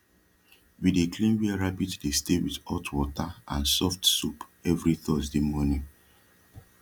we dey clean wia rabbit dey stay wit hot wata and soft soap everi thursday mornin